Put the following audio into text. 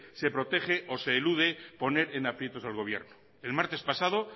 se protege o se elude poner en aprieto al gobierno el martes pasado